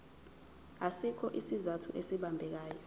asikho isizathu esibambekayo